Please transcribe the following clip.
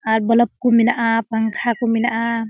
आर बलप कुकू मीना आ पंखा को मीनाआ।